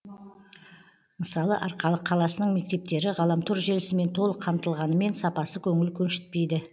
мысалы арқалық қаласының мектептері ғаламтор желісімен толық қамтылғанымен сапасы көңіл көншіптейді